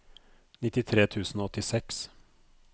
nittitre tusen og åttiseks